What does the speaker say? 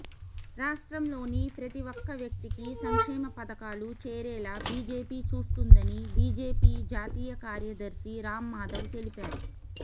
రాష్ట్రంలోని ప్రతి ఒక్క వ్యక్తికి సంక్షేమ పథకాలు చేరేలా బీజేపీ చూస్తుందని బీజేపీ జాతీయ కార్యదర్శి రామ్మాధవ్ తెలిపారు